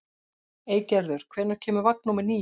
Eygerður, hvenær kemur vagn númer níu?